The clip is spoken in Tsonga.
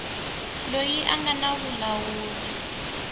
loyi a nga na vulawuri